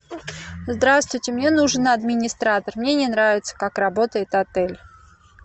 здравствуйте мне нужен администратор мне не нравится как работает отель